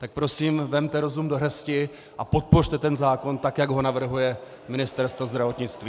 Tak prosím vezměte rozum do hrsti a podpořte ten zákon tak, jak ho navrhuje Ministerstvo zdravotnictví.